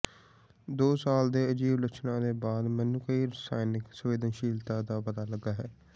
ਦੋ ਸਾਲ ਦੇ ਅਜੀਬ ਲੱਛਣਾਂ ਦੇ ਬਾਅਦ ਮੈਨੂੰ ਕਈ ਰਸਾਇਣਕ ਸੰਵੇਦਨਸ਼ੀਲਤਾਵਾਂ ਦਾ ਪਤਾ ਲੱਗਾ ਹੈ